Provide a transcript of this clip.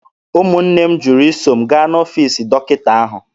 Ụmụnne m jụrụ iso m gaa n'ọfiisi dọkịta ahụ.